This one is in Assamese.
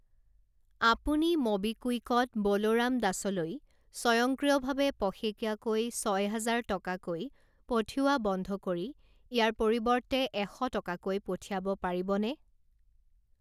আপুনি ম'বিকুইকত বলোৰাম দাস লৈ স্বয়ংক্ৰিয়ভাৱে পষেকীয়াকৈ ছয় হাজাৰ টকাকৈ পঠিওৱা বন্ধ কৰি ইয়াৰ পৰিৱৰ্তে এশ টকাকৈ পঠিয়াব পাৰিবনে?